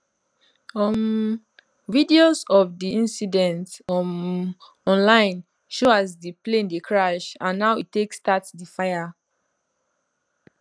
um videos of di indicident um online show as di plane dey crash and how e take start di fire